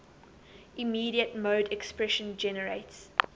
immediate mode expression generates